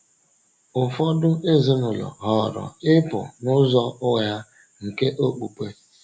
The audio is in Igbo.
Ụfọdụ ezinụlọ họọrọ ịpụ n’ụzọ ụgha nke okpukpe.